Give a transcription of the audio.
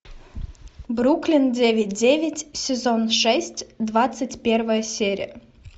бруклин девять девять сезон шесть двадцать первая серия